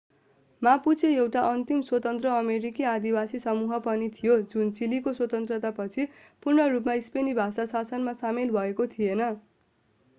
Mapuche एउटा अन्तिम स्वतन्त्र अमेरिकी आदिवासी समूह पनि थियो जुन चिलीको स्वतन्त्रतापछि पूर्ण रूपमा स्पेनी भाषी शासनमा सामेल भएको थिएन